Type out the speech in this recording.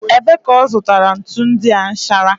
Ebee ka ọ zụtara ntu ndị a nchara?